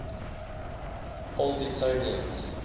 old etonians